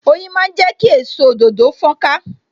Oyin máa ń jẹ ki èso òdòdó fon ka